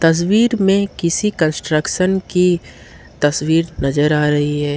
तस्वीर में किसी कंस्ट्रक्शन की तस्वीर नजर आ रही है।